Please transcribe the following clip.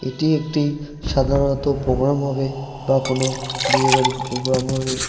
এটি একটি সাধারনত প্রোগ্রাম হবে বা কোনো বিয়ে বাড়ির প্রোগ্রাম হবে।